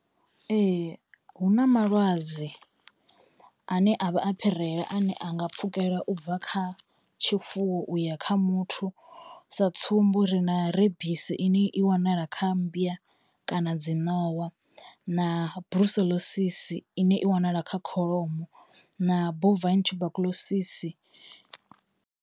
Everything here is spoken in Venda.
Ee hu na malwadze ane a vha a phirela ane anga pfhukela ubva kha tshifuwo uya kha muthu, sa tsumbo ri na rebisi ine i wanala kha mmbya kana dzi ṋowa na ine i wanala kha kholomo na .